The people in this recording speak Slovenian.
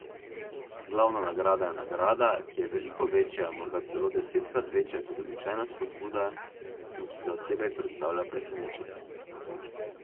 Glavna nagrada je nagrada, ki je veliko večja, morda celo desetkrat večja kot običajna spodbuda, in ki za osebek predstavlja presenečenje.